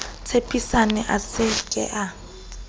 tshepisane a se ke a